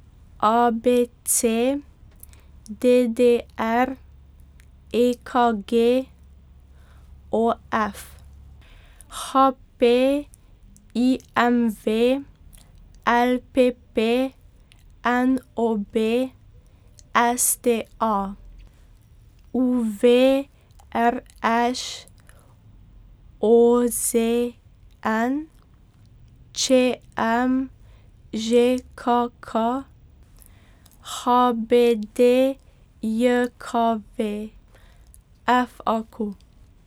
A B C; D D R; E K G; O F; H P; I M V; L P P; N O B; S T A; U V; R Š; O Z N; Č M; Ž K K; H B D J K V; F A Q.